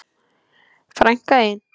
Frænka þín?